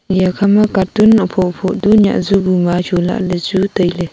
eya kha catoon hopho hopho du nyiah ju bu ma chunlah ley chu tailey.